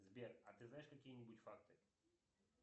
сбер а ты знаешь какие нибудь факты